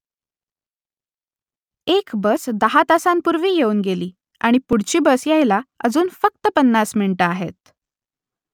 एक बस दहा तासांपूर्वी येऊन गेली आणि पुढची बस यायला अजून फक्त पन्नास मिनिटं आहेत